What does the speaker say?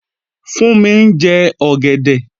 Fúnmi ń jẹ ọ̀gẹ̀dẹ̀